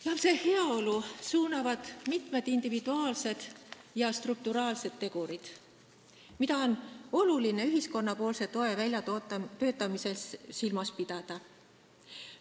Lapse heaolu mõjutavad mitmed individuaalsed ja strukturaalsed tegurid, mida on oluline ühiskonna toe väljatöötamisel silmas pidada.